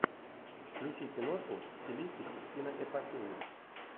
включи киношку в стилистике киноэпопеи